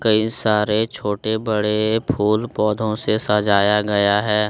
कई सारे छोटे बड़े फूल पौधों से सजाया गया है।